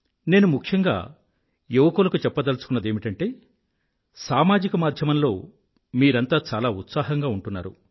నేను ముఖ్యంగా యువకులకు చెప్పదలచుకున్నదేమిటంటే సామాజిక మాధ్యమంలో మీరంతా చాలా ఉత్సాహంగా ఉంటున్నారు